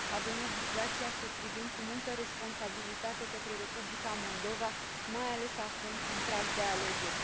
Avem obligația să privim cu multă responsabilitate către Republica Moldova, mai ales acum, în prag de alegeri.